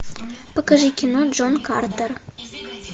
покажи кино джон картер